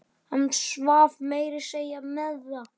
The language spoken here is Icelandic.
Hann svaf meira að segja með það.